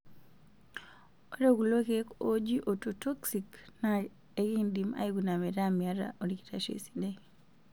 Ore kulo keek ooji ototoxic naa enkidim aikuna metaa miata orkitashei sidai.